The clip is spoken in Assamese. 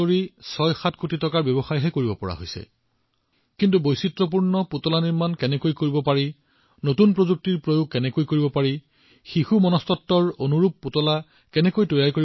কিন্তু পুতলা কেনেদৰে বনাব লাগে পুতলাৰ বিভিন্নতা কি পুতলাত প্ৰযুক্তি কি পুতলাত প্ৰযুক্তি কেনেকুৱা হব লাগে শিশু মনোবিজ্ঞান অনুসৰি পুতলা কেনে হব লাগে